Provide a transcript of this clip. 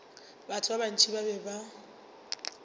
batho ba bantši ba be